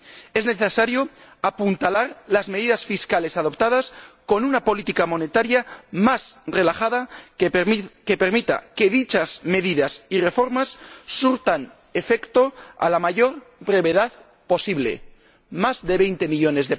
Es necesario apuntalar las medidas fiscales adoptadas con una política monetaria más relajada que permita que dichas medidas y reformas surtan efecto a la mayor brevedad posible más de 20 millones